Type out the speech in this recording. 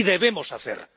¡y debemos hacer!